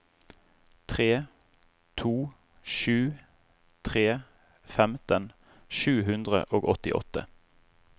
tre to sju tre femten sju hundre og åttiåtte